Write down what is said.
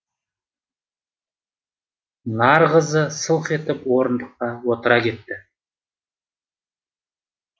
нарғазы сылқ етіп орындыққа отыра кетті